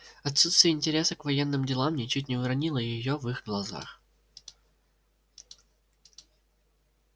отсутствие интереса к военным делам ничуть не уронило её в их глазах